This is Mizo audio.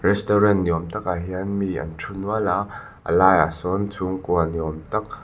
restaurant ni awm takah hian mi an thu nual a a laiah sawn chhungkua ni awm tak--